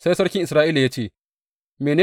Sai sarkin Isra’ila ya ce, Mene!